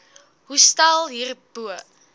hostel hier bo